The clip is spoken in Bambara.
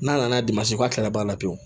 N'a nana a kalaban la pewu